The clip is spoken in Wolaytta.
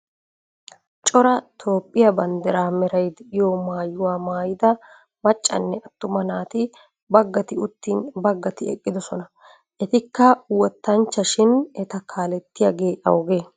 Cora Toophiyaa bandiraa meray de'iyo maayuwa maayida maccanne attuma naati baggati uttin baggati eqqidosona. Etikka wottanchcha shin eta kaalettiyagee awugee?